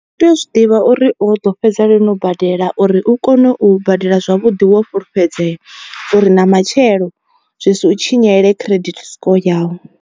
U tea u zwi ḓivha uri u ḓo fhedza lini u badela uri u kone u badela zwavhuḓi wo fhulufhedzea uri na matshelo zwi si u tshinyele credit score yau.